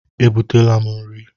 E butela m nri.